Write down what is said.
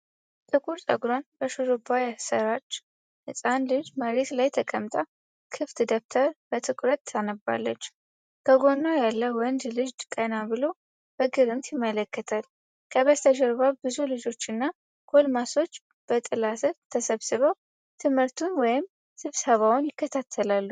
ጥቁር ጸጉሯን በሽሩባ ያሠራች ህጻን ልጅ መሬት ላይ ተቀምጣ ክፍት ደብተር በትኩረት ታነባለች። ከጎኗ ያለ ወንድ ልጅ ቀና ብሎ በግርምት ይመለከታል። ከበስተጀርባ ብዙ ልጆችና ጎልማሶች በጥላ ስር ተሰብስበው ትምህርቱን ወይም ስብሰባውን ይከታተላሉ።